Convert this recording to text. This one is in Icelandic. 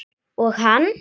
Og hann?